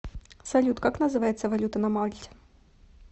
салют как называется валюта на мальте